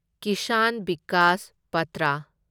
ꯀꯤꯁꯥꯟ ꯚꯤꯀꯥꯁ ꯄꯥꯇ꯭ꯔ